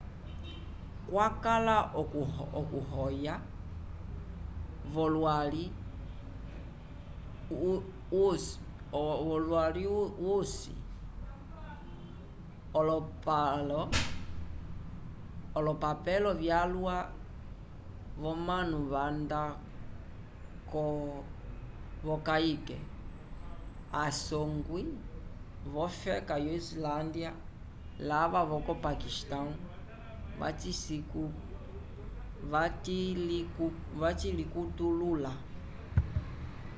cwakala okuhoya volwali usi olopapelo vyalwa vomanu vanda vokayke a songwi vocofeka yo islandya lava voco pakistão vacilicutulula